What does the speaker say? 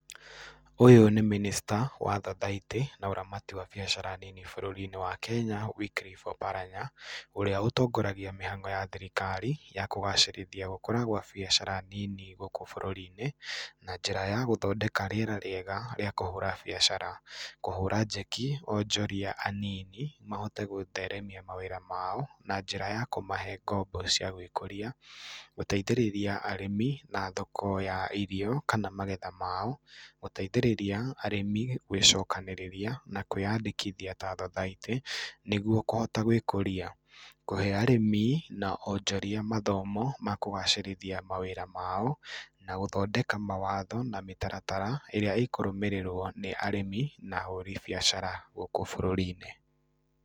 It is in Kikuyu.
Ũyũ nĩ minister wa thothaitĩ na ũramati wa biacara nini bũrũri-inĩ wa Kenya Wycliff Oparanya, ũrĩa ũtongoragia mĩhang'o ya thirikari ya kũgacĩrithia gũkũra gwa biacara nini gũũkũ bũrũri-inĩ na njĩra ya gũthondeka rĩera rĩega rĩa kũhũra biacara, kũhũra njeki ahũrĩ biacara anini mahote kũrũgamia mawĩra mao na njira ya kũmahe ngombo cia gwĩkũria, gũteithĩrĩria arĩmi na thoko ya irio kana magetha mao, gũteithĩrĩria arĩmi gwĩcokanĩrĩria na kwĩyandĩkithia ta thothaitĩ nĩgũo kũhota gwĩkũria. Kũhe arĩmi na onjoria mathomo ma kũgacĩrithia mawĩra mao, na gũthodeka mawatho na mĩtaratara ĩrĩa ĩkũrũmĩrĩrwo nĩ arĩmi na ahũri biacara gũkũ bũrũri-inĩ.